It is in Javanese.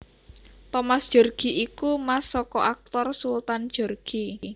Thomas Djorghi iku mas saka aktor Sultan Djorghi